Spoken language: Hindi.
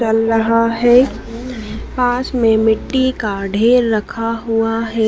चल रहा है पास में मिट्टी का ढेर रखा हुआ है।